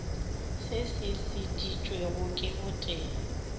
se se šeditšwego ke botee